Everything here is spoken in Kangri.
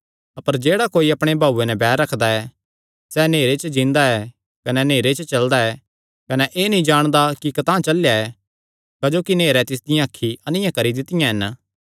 अपर जेह्ड़ा कोई अपणे भाऊये नैं बैर रखदा ऐ सैह़ नेहरे च जीआ दा ऐ कने नेहरे च चलदा ऐ कने एह़ नीं जाणदा कि कतांह चलेया ऐ क्जोकि नेहरें तिसदियां अखीं अन्नियां करी दित्तियां हन